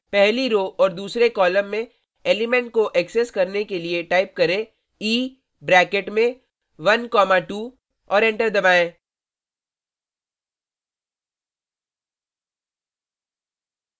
पहली row row और दूसरे कॉलम में एलीमेंट को एक्सेस करने के लिए टाइप करें e ब्रैकेट में 12 और एंटर दबायें